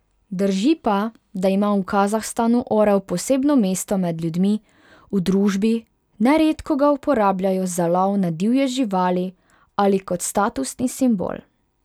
Drži pa, da ima v Kazahstanu orel posebno mesto med ljudmi, v družbi, neredko ga uporabljajo za lov na divje živali ali kot statusni simbol.